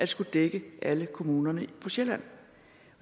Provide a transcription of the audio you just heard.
skulle dække alle kommunerne på sjælland